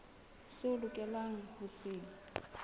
seo o lokelang ho se